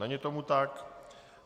Není tomu tak.